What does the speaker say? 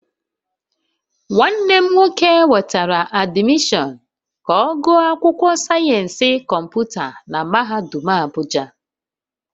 Nwanne m nwoke nwetara admission ka ogu akwukwo sayensi komputa na mahadum Abuja